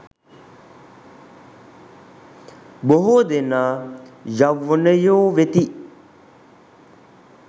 බොහෝ දෙනා යෞවනයෝ වෙති.